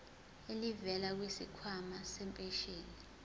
elivela kwisikhwama sempesheni